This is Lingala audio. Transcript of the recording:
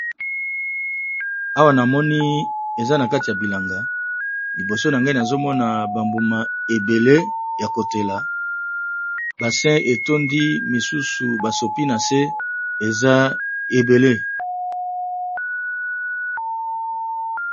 Awa namoni ezanakati yabilanga libosonanga nazomona bambuma ebele yakotela basé etondi misusu basopi nase eza ebele